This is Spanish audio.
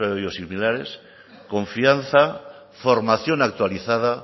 sobre biosimilares confianza formación actualizada